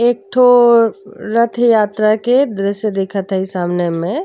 एक ठो रथ यात्रा के दृश्य दिखत ह ई सामने में।